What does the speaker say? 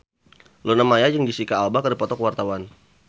Luna Maya jeung Jesicca Alba keur dipoto ku wartawan